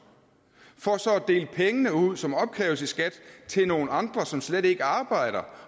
for så at dele pengene ud som opkræves i skat til nogle andre som slet ikke arbejder